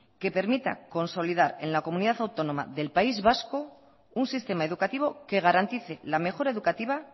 que permita consolidar en la comunidad autónoma del país vasco un sistema educativo que garantice la mejora educativa